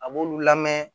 A b'olu lamɛn